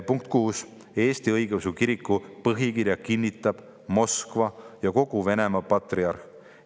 Punkt 6: "Eesti Õigeusu Kiriku põhikirja kinnitab Moskva ja kogu Venemaa patriarh.